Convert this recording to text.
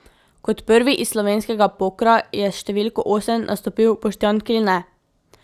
Kot prvi iz slovenskega pokra je s številko osem nastopil Boštjan Kline.